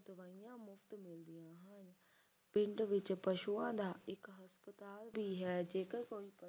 ਪਿੰਡ ਵਿੱਚ ਪਸ਼ੂਆਂ ਦਾ ਇੱਕ ਹਸਪਤਾਲ ਵੀ ਹੈ ਜੇਕਰ ਕੋਈ